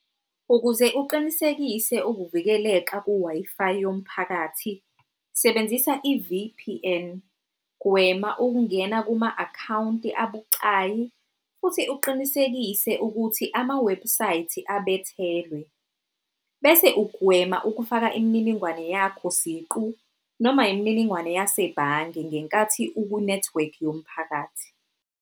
Ukuze uqinisekise ukuvikeleka ku-Wi-Fi yomphakathi sebenzisa i-V_P_N, gwema ukungena kuma-akhawunti abucayi, futhi uqinisekise ukuthi ama-website abethelwe. Bese ugwema ukufaka imininingwane yakho siqu noma yimininingwane yasebhange ngenkathi uku-network yomphakathi.